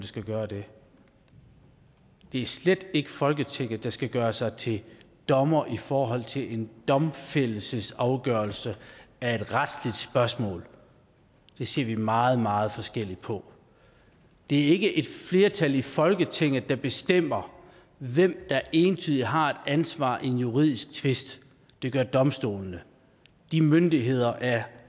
skal gøre det det er slet ikke folketinget der skal gøre sig til dommer i forhold til en domfældelsesafgørelse af et retsligt spørgsmål det ser vi meget meget forskelligt på det er ikke et flertal i folketinget der bestemmer hvem der entydigt har et ansvar i en juridisk tvist det gør domstolene de myndigheder er